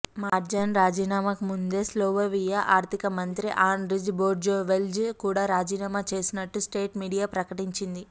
మార్జన్ రాజీనామాకు ముందే స్లొవేనియా ఆర్థిక మంత్రి ఆండ్రీజ్ బెర్టోన్సెల్జ్ కూడా రాజీనామా చేసినట్టు స్టేట్ మీడియా ప్రకటించింది